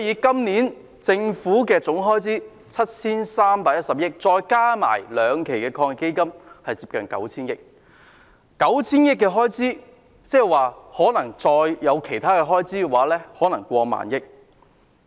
今年的政府總開支 7,310 億元，連同兩輪防疫抗疫基金是接近 9,000 億元，而這筆款項再加上其他開支會達過萬億元。